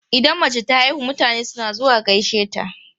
Idan mace ta haihu, mutane suna zuwa gaishe ta.